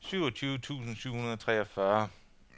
syvogtyve tusind syv hundrede og treogfyrre